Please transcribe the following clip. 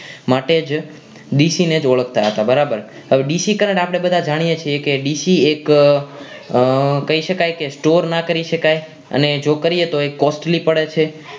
માટે જ ડીસી ને જ ઓળખતા હતા બરાબર હવે ડીસી current આપણે બધા જાણીએ છીએ ડીસી એક અ કહી શકાય કે Store ના કરી શકાય અને જો કરીએ તો એ costely પડે છે